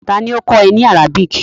Ta ni ó kọ́ ẹ ní Arabic?